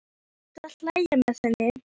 Ég reyni að hlæja með henni.